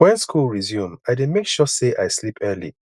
wen school resume i dey make sure sey i sleep early